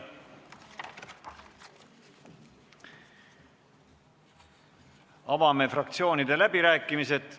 Avame fraktsioonide läbirääkimised.